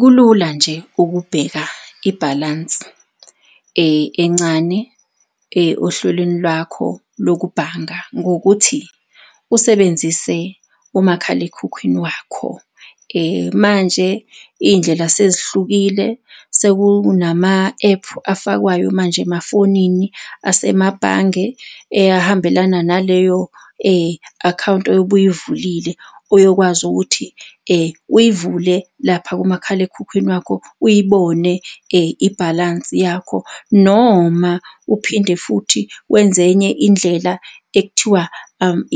Kulula nje ukubheka ibhalansi encane ohlelweni lwakho lokubhanga ngokuthi usebenzise umakhalekhukhwini wakho. Manje iy'ndlela sezihlukile sekunama ephu afakwayo manje emafonini asemabhange ahambelana naleyo akhawunti oyobe uyivulile, oyokwazi ukuthi uyivule lapha kumakhalekhukhwini wakho, uyibone ibhalansi yakho, noma uphinde futhi wenze enye indlela ekuthiwa